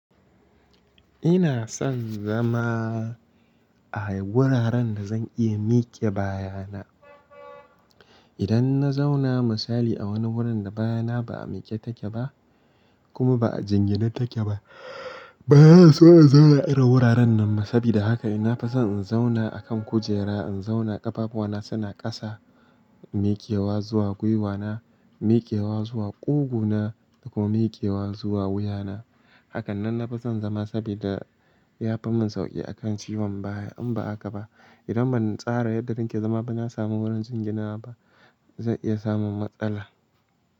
Ina son zama a wuraren da zan iya miƙe baya na. Idan na zauna misali a wani wurin da baya na ba a miƙe take ba kuma ba a jingina take ba, baya so a zauna irin wuraren nan. Sabida haka ina fason in zauna akan kujera, in zauna ƙafafuna suna ƙasa, mikewa zuwa gwiwana, mikewa zuwa ƙugu na da kuma mikewa zuwa wuya na. Hakanan na fi son zama sabida ya fi min sauƙi akan ciwon baya. In ba haka ba idan ban tsara yadda zan ke zama ba na samu wurin jingina ba, zan iya samun matsala.